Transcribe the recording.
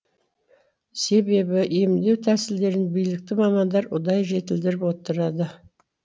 себебі емдеу тәсілдерін билікті мамандар ұдайы жетілдіріп отырады